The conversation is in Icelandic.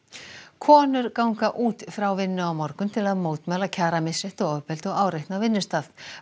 konur ganga út frá vinnu á morgun til að mótmæla kjaramisrétti og ofbeldi og áreitni á vinnustað